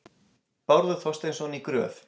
Bárður Þorsteinsson í Gröf.